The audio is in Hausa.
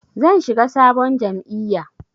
Zan shiga sabon jam'iyya.